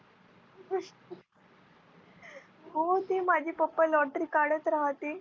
हो ते माझे पप्पा Lotery काढत राहते.